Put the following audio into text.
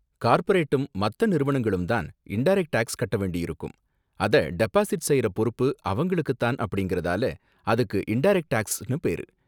கார்பரேட்டும் மத்த நிறுவனங்களும் தான் இன்டரக்ட் டேக்ஸ் கட்ட வேண்டியிருக்கும், அத டெபாசிட் செய்யற பொறுப்பு அவங்களுக்கு தான் அப்படிங்கறதால அதுக்கு இன்டரக்ட் டேக்ஸ்னு பேரு.